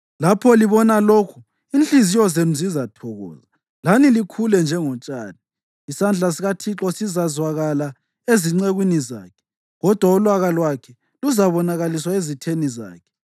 Lapho libona lokhu, inhliziyo zenu zizathokoza, lani likhule njengotshani; isandla sikaThixo sizakwazakala ezincekwini zakhe kodwa ulaka lwakhe luzabonakaliswa ezitheni zakhe.